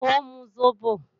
Ó ń mu sóbò